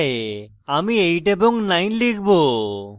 আমি 8 এবং 9 লিখব